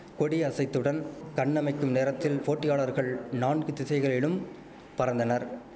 கொடி அசைத்துடன் கண்ணமைக்கும் நேரத்தில் போட்டியாளர்கள் நான்கு திசைகளிலும் பறந்தனர்